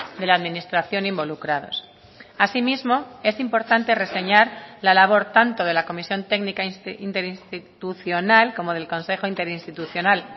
de la administración involucrados asimismo es importante reseñar la labor tanto de la comisión técnica interinstitucional como del consejo interinstitucional